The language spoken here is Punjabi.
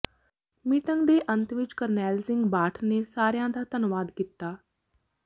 ਮੀਟਿੰਗ ਦੇ ਅੰਤ ਵਿਚ ਕਰਨੈਲ ਸਿੰਘ ਬਾਠ ਨੇ ਸਾਰਿਆਂ ਦਾ ਧੰਨਵਾਦ ਕੀਤਾ